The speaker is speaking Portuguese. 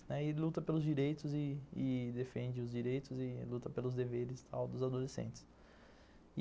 E luta pelos direitos e defende os direitos e luta pelos deveres dos adolescentes.